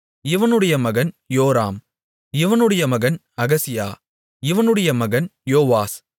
இவனுடைய மகன் யோராம் இவனுடைய மகன் அகசியா இவனுடைய மகன் யோவாஸ்